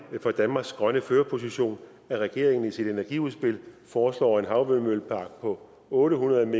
for danmarks grønne førerposition at regeringen i sit energiudspil foreslår en havvindmøllepark på otte hundrede